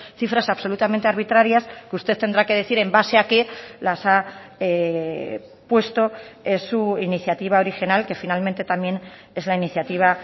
cifras absolutamente arbitrarias que usted tendrá que decir en base a qué las ha puesto en su iniciativa original que finalmente también es la iniciativa